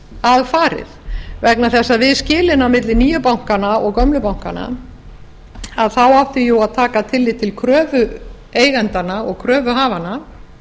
að farið vegna þess að við skilin á milli nýju bankanna og gömlu bankanna átti jú að taka tillit til kröfu eigendanna og kröfuhafanna